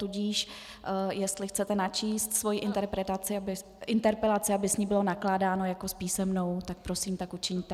Tudíž jestli chcete načíst svoji interpelaci, aby s ní bylo nakládáno jako s písemnou, tak prosím tak učiňte.